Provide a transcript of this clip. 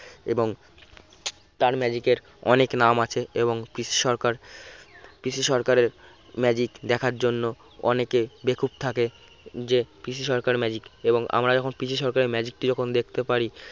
এবং তার magic এর অনেক নাম আছে এবং পিসি সরকার পিসি সরকারের magic দেখার জন্য অনেকে বেকুব থাকে যে পিসি সরকার magic এবং আমরা যখন পিসি সরকারের magic টি যখন দেখতে পারি